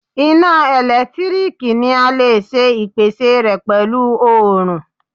Iná ẹ̀lẹ́tíríkì ni a lè ṣe ìpèsè rẹ pẹ̀lú oòrùn.